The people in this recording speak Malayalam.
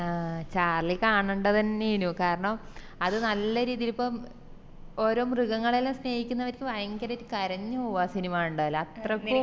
ആഹ് ചാർളി കാണണ്ട തന്നെയെനു കാരണം അത് നല്ല രീതില് ഇപ്പോം ഓരോ മൃഗങ്ങളെല്ലാം സ്നേഹിക്കുന്നവരിക്ക് വയങ്കരെറ്റ് കരഞ് പോവും ആ സിനിമ കണ്ടാൽ അത്രക്കും